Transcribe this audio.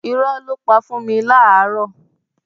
Irọ́ ló pa fún mi láàárọ́.